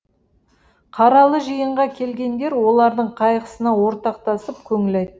қаралы жиынға келгендер олардың қайғысына ортақтасып көңіл айтты